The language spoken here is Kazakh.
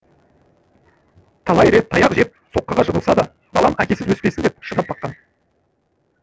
талай рет таяқ жеп соққыға жығылса да балам әкесіз өспесін деп шыдап бақты